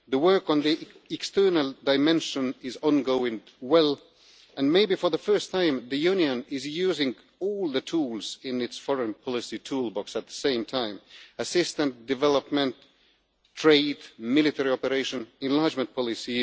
Work on the external dimension is going well, and, maybe for the first time, the Union is using all the tools in its foreign policy toolbox at the same time assistance, development, trade, military operation, and even enlargement policy.